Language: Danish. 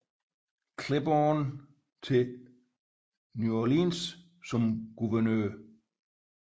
Claiborne til New Orleans som guvernør